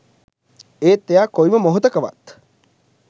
ඒත් එයා කොයිම මොහොතකවත්